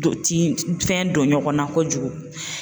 Don tin fɛn don ɲɔgɔn na kojugu